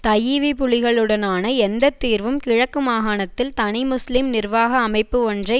தஈவிபுலிகளுடனான எந்த தீர்வும் கிழக்கு மாகாணத்தில் தனி முஸ்லிம் நிர்வாக அமைப்பு ஒன்றை